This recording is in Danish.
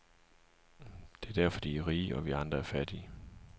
Det er derfor, de er rige, og vi andre fattige.